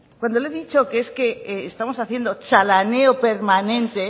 cuando le he dicho que es que estamos haciendo chalaneo permanente